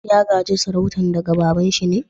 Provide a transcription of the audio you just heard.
Ya ga'je sarautan daga baba'n shi ne?